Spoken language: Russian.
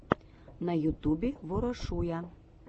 на ютубе ворошуя